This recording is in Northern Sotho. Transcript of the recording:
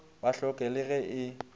ba hloke le ge e